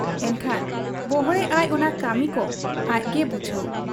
ᱮᱱᱠᱷᱟᱱ ᱵᱚᱲᱦᱮᱜ ᱟᱭ ᱚᱱᱟ ᱠᱟᱹᱢᱤᱠᱚ ᱟᱡᱜᱮ ᱵᱩᱡᱷᱟᱹᱣ ᱾